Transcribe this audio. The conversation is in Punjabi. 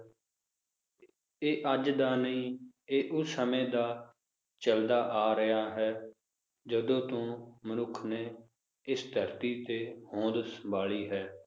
ਇਹ ਅੱਜ ਦਾ ਨਹੀਂ, ਇਹ ਉਸ ਸਮੇ ਦਾ ਚਲਦਾ ਆ ਰਿਹਾ ਹੈ ਜਦੋ ਤੋਂ ਮਨੁੱਖ ਨੇ ਇਸ ਧਰਤੀ ਤੇ ਹੋਂਦ ਸੰਭਾਲੀ ਹੈ